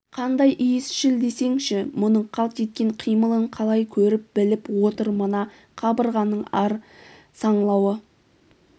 қандай иісшіл десеңші мұның қалт еткен қимылын қалай көріп-біліп отыр мына қабырғаның әр саңлауы